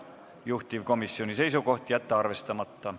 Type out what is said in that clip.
Juhtivkomisjoni seisukoht: jätta arvestamata.